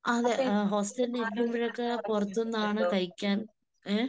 അതെ ഹോസ്റ്റലിൽ ഇരിക്കുമ്പൊഴൊക്കെ പുറത്തുന്നാണ് കഴിക്കാൻ ഏഹ്